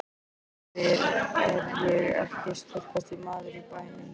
Ég spyr: Er ég ekki sterkasti maður í bænum?